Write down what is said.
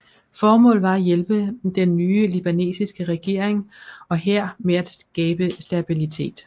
Formålet var at hjælpe den nye libanesiske regering og hær med at skabe stabilitet